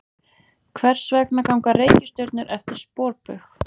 Hvers vegna ganga reikistjörnur eftir sporbaug?